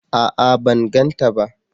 A'a! Ban gan ta ba.